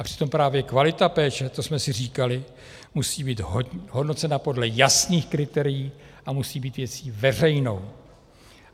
A přitom právě kvalita péče, a to jsme si říkali, musí být hodnocena podle jasných kritérií a musí být věcí veřejnou.